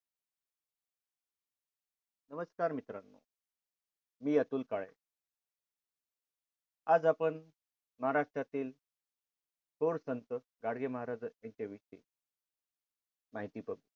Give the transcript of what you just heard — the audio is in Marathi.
नमस्कार मित्रांनो मी अतुल काळे आज आपण महाराष्ट्रातील थोर संत गाडगे महाराज यांच्या विषयी माहिती करू.